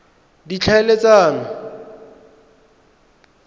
ditlhaeletsano